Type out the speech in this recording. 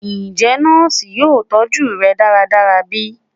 Njẹ nọọsi yoo tọju rẹ daradara bi?